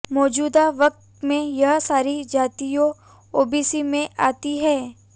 मौजूदा वक़्त में यह सारी जातियाँ ओबीसी में आती हैं